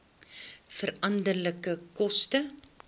veranderlike koste